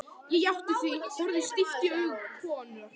Ég játti því, horfði stíft í augu konunnar.